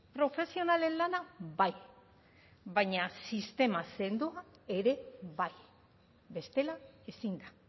profesionalen lana bai baina sistema sendo bat ere bai bestela ezin da